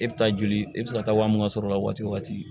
E bɛ taa joli e bɛ se ka taa waa mun sɔrɔ o la waati wo waati